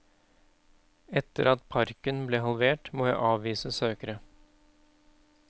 Etter at parken ble halvert må jeg avvise søkere.